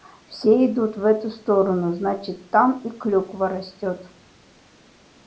все идут в эту сторону значит там и клюква растёт